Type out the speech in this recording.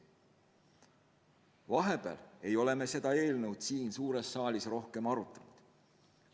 " Vahepeal ei ole me seda eelnõu siin suures saalis rohkem arutanud.